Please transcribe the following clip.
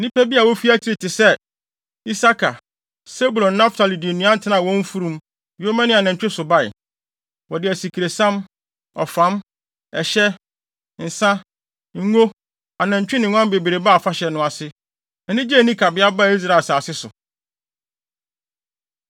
Nnipa bi a wofi akyiri te sɛ Isakar, Sebulon, ne Naftali de nnuan tenaa wɔn mfurum, yoma ne anantwi so bae. Wɔde asikresiam, ɔfam, ɛhyɛ, nsa, ngo, anantwi ne nguan bebree baa afahyɛ no ase. Anigye a enni kabea baa Israel asase so.